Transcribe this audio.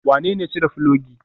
Wanene ya cire filogi?